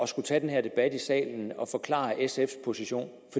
skulle tage den her debat i salen og forklare sfs position